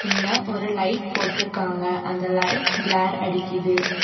இங்க ஒரு லைட் போட்றுக்காங்க அந்த லைட் க்லார் அடிக்கிது.